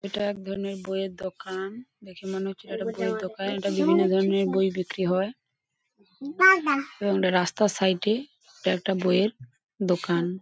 এটা একধরণের বইয়ের দোকান দেখে মনে হচ্ছে এটা বইয়ের দোকান এটা বিভিন্ন ধরণের বই বিক্রি হয়। এবং একটা রাস্তার সাইড -এ এটা একটা বই-এর দোকান।